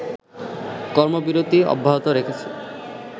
কর্মবিরতি অব্যাহত রেখেছে